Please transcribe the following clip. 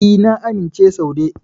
E, na amince Saude.